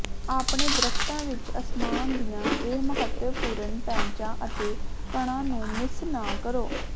ਆਪਣੇ ਦਰੱਖਤਾਂ ਵਿਚ ਅਸਮਾਨ ਦੀਆਂ ਇਹ ਮਹੱਤਵਪੂਰਣ ਪੈਚਾਂ ਅਤੇ ਕਣਾਂ ਨੂੰ ਮਿਸ ਨਾ ਕਰੋ